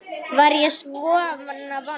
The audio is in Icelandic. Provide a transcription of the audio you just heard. Var ég svona vondur?